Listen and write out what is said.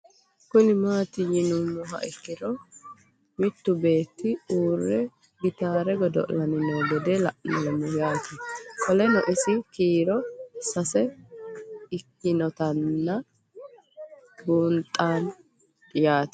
Kuni mati yinumoha ikiro mitu beete uure gitare godoli'nni noo gede la'nemo yaate qoleno insa kiiro sase ikinotana bunxana yaate